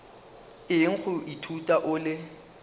eng go ithuta o le